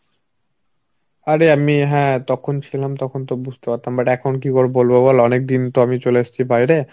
আরে আমি হ্যাঁ তখন ছিলাম তখন তো বুঝতে পারতাম. But এখন কি করে বলবো বল অনেকদিন তো আমি চলে এসছি বাইরে